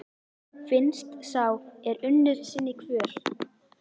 Finnst sá er unnir sinni kvöl?